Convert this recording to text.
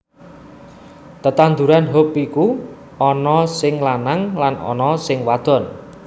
Tetandhuran hop iku ana sing lanang lan ana sing wadon